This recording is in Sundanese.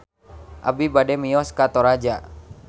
Abi bade mios ka Toraja